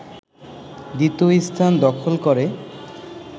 দ্বিতীয় স্থান দখল করে